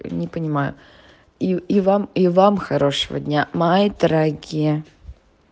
не понимаю и вам и вам хорошего дня мои дорогие